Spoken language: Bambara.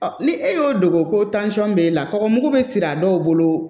ni e y'o dogo ko b'e la tɔgɔmugu bɛ siri a dɔw bolo